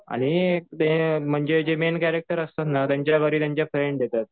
आणि ते म्हणजे जे मेन कॅरेक्टर असतात ना त्यांच्या घरी त्यांच्या फ्रेंड येतात.